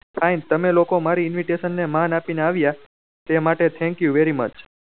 fine તમે લોકો ને મારી invitation ને માં આપી ને આવ્યા તે માટે thank you very much